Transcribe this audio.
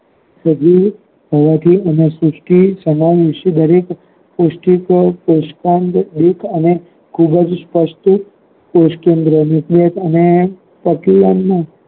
કે વિવિધ પ્રદાથો એમાં સુષ્ટિ સમાવેસ્ટ તરીકે પુશ્ટી કોષો પુસતનક તેંને અને ખુબજ પુસતિત કોષકેન્દ્રીઓ અને પ્રકિયાન નો